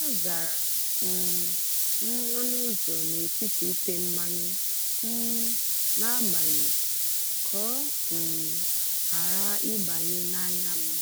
azara um m ọnụ ụzọ n’etiti ite mmanụ um na-agbalị ka ọ um ghara ịbanye n’anya m."